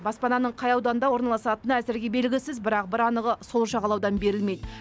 баспананың қай ауданда орналасатыны әзірге белгісіз бірақ бір анығы сол жағалаудан берілмейді